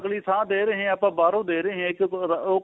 ਥਾ ਦੇ ਰਹੇ ਆਪਾਂ ਬਾਹਰੋ ਦੇ ਰਹੇ ਆ ਉਹ